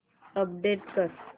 update कर